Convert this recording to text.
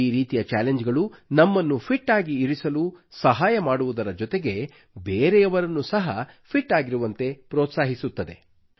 ಈ ರೀತಿಯ ಚಾಲೆಂಜ್ ಗಳು ನಮ್ಮನ್ನು ಫಿಟ್ ಆಗಿ ಇರಿಸಲು ಸಹಾಯ ಮಾಡುವುದರ ಜೊತೆಗೆ ಬೇರೆಯವರನ್ನು ಸಹ ಫಿಟ್ ಆಗಿರುವಂತೆ ಪ್ರೋತ್ಸಾಹಿಸುತ್ತವೆ